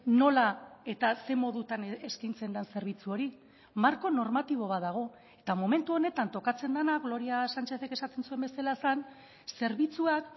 nola eta zein modutan eskaintzen den zerbitzu hori marko normatibo bat dago eta momentu honetan tokatzen dena gloria sánchezek esaten zuen bezala zen zerbitzuak